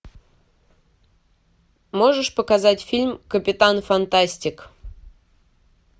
можешь показать фильм капитан фантастик